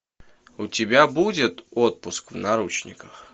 у тебя будет отпуск в наручниках